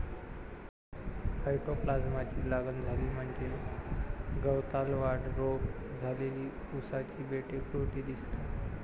फयटोप्लास्माची लागण झाली म्हणजेच गवतालवाढ रोग झालेली उसाची बेटे खुरटी दिसतात.